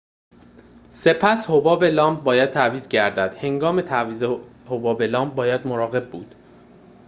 سپس حباب لامپ باید تعویض گردد هنگام تعویض حباب لامپ باید مراقب بود